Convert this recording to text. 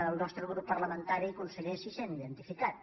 el nostre grup par·lamentari conseller s’hi sent identificat